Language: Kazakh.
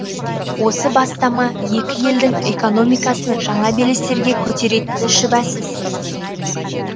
осы бастама екі елдің экономикасын жаңа белестерге көтеретіні шүбәсіз